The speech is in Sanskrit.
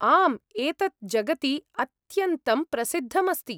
आम्, एतत् जगति अत्यन्तं प्रसिद्धम् अस्ति ।